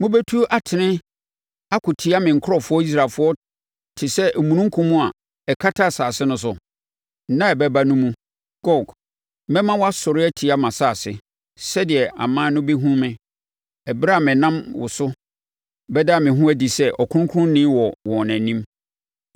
Mobɛtu atene akɔtia me nkurɔfoɔ Israelfoɔ te sɛ omununkum a ɛkata asase no so. Nna a ɛbɛba no mu, Gog, mɛma woasɔre atia mʼasase, sɛdeɛ aman no bɛhunu me, ɛberɛ a menam wo so bɛda me ho adi sɛ ɔkronkronni wɔ wɔn anim.